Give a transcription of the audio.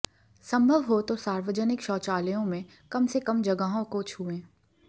संभव हो तो सार्वजनिक शौचालयों में कम से कम जगहों को छुएं